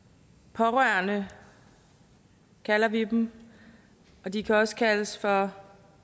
pårørende kalder vi dem og de kan også kaldes for